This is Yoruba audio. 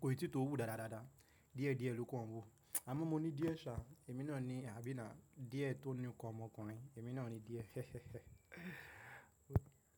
Kò ì tí to wù dáadáa dáadáa. Díẹ̀ díẹ̀ ló kan wu. Àmọ́ mo ní díẹ̀ sa, èmi náà ni àbí na díẹ̀ tó ní ń kọ ọmọkùnrin. Èmi náà ni díẹ̀.